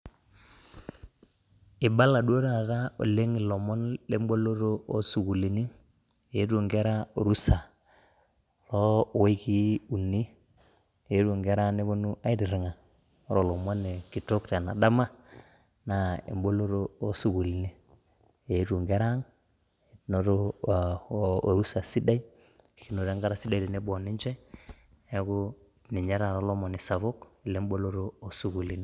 Eibala duo taata oleng lomon le mboloto o sukulini, eito inkera rusa o wikii uni, eito inkera neponu aitiringa, ore lomoni kitok tena dama naa emboloto o sukulini eito nkera ang' enoto orusa sidai ashu nikinoto enkata sidai si tenebo oninche, naaku ninye taata lomoni sapuk le imboloto o sukulini.